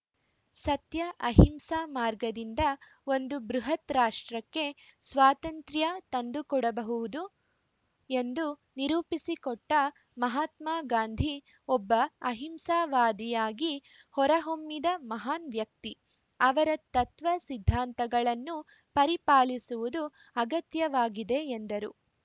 ಸತ್ಯ ಅಹಿಂಸಾ ಮಾರ್ಗದಿಂದ ಒಂದು ಬೃಹತ್‌ ರಾಷ್ಟ್ರಕ್ಕೆ ಸ್ವಾತಂತ್ರ್ಯ ತಂದುಕೊಡಬಹುವುದು ಎಂದು ನಿರೂಪಿಸಿಕೊಟ್ಟಮಹಾತ್ಮಗಾಂಧಿ ಒಬ್ಬ ಅಹಿಂಸಾವಾದಿಯಾಗಿ ಹೊರಹೊಮ್ಮಿದ ಮಹಾನ್‌ ವ್ಯಕ್ತಿ ಅವರ ತತ್ವ ಸಿದ್ಧಾಂತಗಳನ್ನು ಪರಿಪಾಲಿಸುವುದು ಅಗತ್ಯವಾಗಿದೆ ಎಂದರು